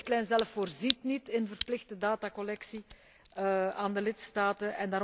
De richtlijn zelf voorziet niet in verplichte datacollectie door de lidstaten.